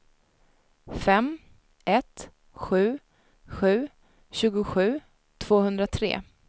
fem ett sju sju tjugosju tvåhundratre